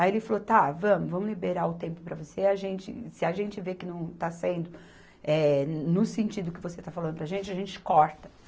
Aí ele falou, tá, vamos, vamos liberar o tempo para você, e a gente se a gente ver que não está sendo, eh no sentido que você está falando para gente, a gente corta.